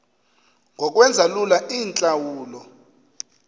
ngokwenza lula iintlawulo